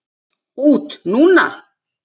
Út núna?